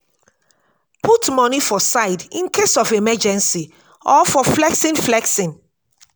put money for side incase of emergency or for flexing flexing